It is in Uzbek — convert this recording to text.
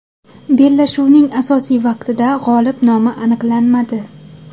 Bellashuvning asosiy vaqtida g‘olib nomi aniqlanmadi.